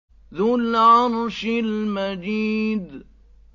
ذُو الْعَرْشِ الْمَجِيدُ